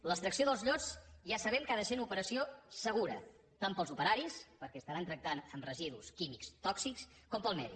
l’extracció dels llots ja sabem que ha de ser una operació segura tant per als operaris perquè estaran tractant amb residus químics tòxics com per al medi